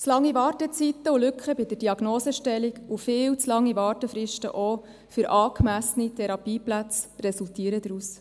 Zu lange Wartezeiten und Lücken bei der Diagnosestellung und viel zu lange Wartefristen auch für angemessene Therapieplätze resultieren daraus.